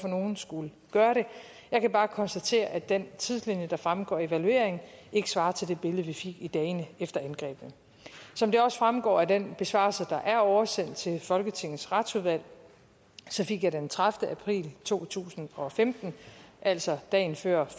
nogen skulle gøre det jeg kan bare konstatere at den tidslinje der fremgår af evalueringen ikke svarer til det billede vi fik i dagene efter angrebene som det også fremgår af den besvarelse der er oversendt til folketingets retsudvalg fik jeg den tredivete april to tusind og femten altså dagen før